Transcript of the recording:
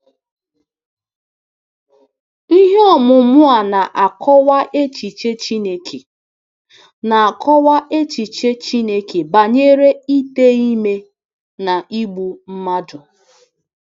Ihe ọmụmụ a na-akọwa echiche Chineke na-akọwa echiche Chineke banyere ite ime na igbu mmadụ.